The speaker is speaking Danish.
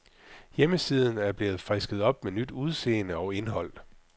Hjemmesiden er blevet frisket op med nyt udseende og indhold.